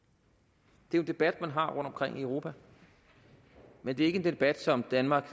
det er jo en debat man har rundtomkring i europa men det er ikke en debat som danmark